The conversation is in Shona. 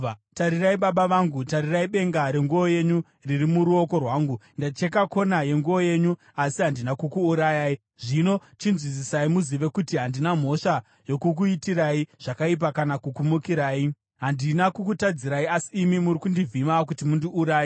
Tarirai, baba vangu, tarirai benga renguo yenyu riri muruoko rwangu! Ndacheka kona yenguo yenyu asi handina kukuurayai. Zvino chinzwisisai muzive kuti handina mhosva yokukuitirai zvakaipa kana kukumukirai. Handina kukutadzirai, asi imi muri kundivhima kuti mundiuraye.